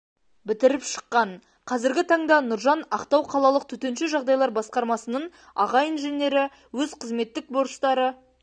бітіріп шыққан қазіргі таңда нұржан ақтау қалалық төтенше жағдайлар басқармасының аға инженері өз қызметтік борыштары